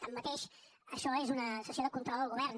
tanmateix això és una sessió de control al govern